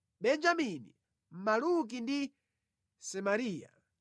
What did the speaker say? Benjamini, Maluki ndi Semariya.